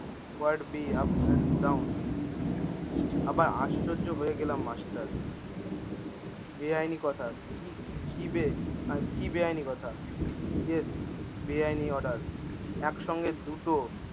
what be up and down আবার আশ্চর্য হয়ে গেলাম মাষ্টার বেআইনী কথা কি কি বে কি বেআইনী কথা yes বেআইনী order একসঙ্গে দুটো